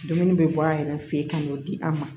Dumuni bɛ bɔ a yɛrɛ fɛ yen ka n'o di a ma